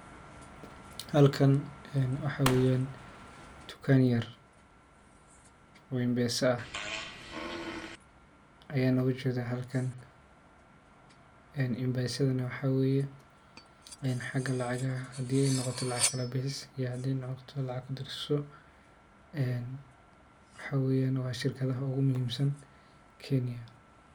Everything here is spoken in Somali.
Halkan wuxu yahy dukaan yar oo mpesa ah ayaan ogajedhaa halkan mpse sadhana waxaa weye xaga lacagaha hadii noqoto lacag kabixis ama kudirso. Waxaa weye shirkadhaha ugumuhimsan Kenya.